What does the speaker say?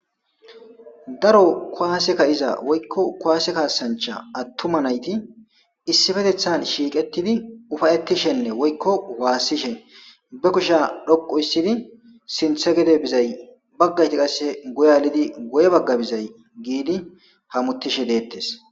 daro kuwaaseka iza woykko kuwaase kaasancha attuma nayti issifetethan shiiqettidi ufayettishenne woykko waassishen be kusha dhoqu issidi sinthe gede bizay baggayti qasse guyalidi goye bagga bizay giidi hamutishe deettes